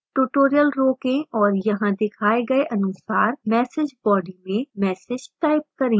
tutorial रोकें और यहाँ दिखाए गए अनुसार message body में message type करें